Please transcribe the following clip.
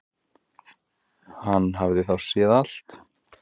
Hann hafði þá séð allt!